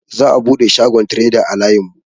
Za'a buɗe shagon treda a layin mu.